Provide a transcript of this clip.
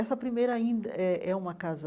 Essa primeira ainda é é uma casa